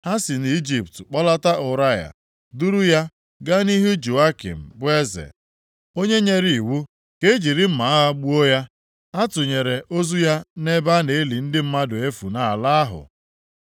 Ha si nʼIjipt kpọlata Ụraya, duru ya gaa nʼihu Jehoiakim bụ eze, onye nyere iwu ka e jiri mma agha gbuo ya. A tụnyere ozu ya nʼebe a na-eli ndị mmadụ efu nʼala ahụ.)